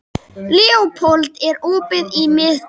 Leópold, er opið í Miðeind?